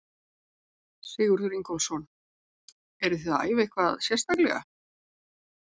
Sigurður Ingólfsson: Eruð þið að æfa eitthvað sérstaklega?